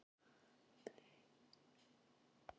Í gær lærði ég nýtt lýsingarorð.